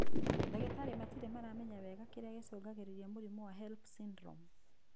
Ndagĩtarĩ matirĩ maramenya wega kĩrĩa gĩcũngagĩrĩria mũrimũ wa HELLP syndrome.